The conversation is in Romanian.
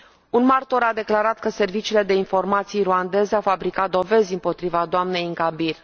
Un martor a declarat că serviciile de informații ruandez au fabricat dovezi împotriva doamnei Ingabire.